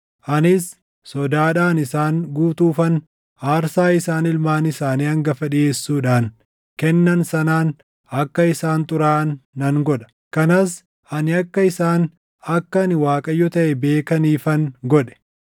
anis sodaadhaan isaan guutuufan aarsaa isaan ilmaan isaanii hangafa dhiʼeessuudhaan kennan sanaan akka isaan xuraaʼan nan godha; kanas ani akka isaan akka ani Waaqayyo taʼe beekaniifan godhe.’